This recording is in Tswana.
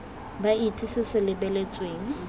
ba itse se se lebeletsweng